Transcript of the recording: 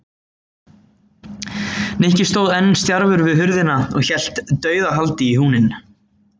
Nikki stóð enn stjarfur við hurðina og hélt dauðahaldi í húninn.